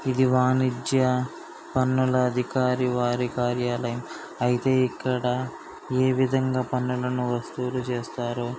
ఇది వాణిజ్య పన్నుల అధికారి వారి కార్యాలయం. అయితే ఇక్కడ ఏ విధంగా పన్నులను వసూలు చేస్తారో--